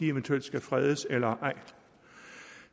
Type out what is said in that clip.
eventuelt skal fredes eller ej